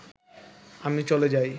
আমি চলে যাই